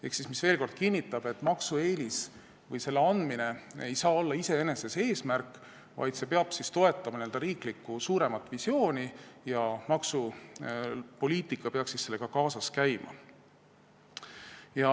See kinnitab veel kord, et maksueelis või selle andmine ei saa olla iseenesest eesmärk, vaid see peab toetama riiklikku suuremat visiooni, maksupoliitika peaks sellega kaasas käima.